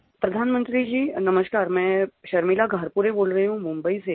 प्रधानमंत्री जी नमस्कार मैं शर्मिला धारपुरे बोल रही हूँ मुम्बई से